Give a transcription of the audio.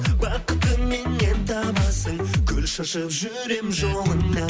бақытты меннен табасың гүл шашып жүремін жолыңа